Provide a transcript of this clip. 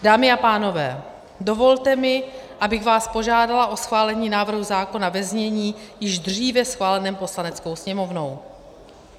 Dámy a pánové, dovolte mi, abych vás požádala o schválení návrhu zákona ve znění již dříve schváleném Poslaneckou sněmovnou.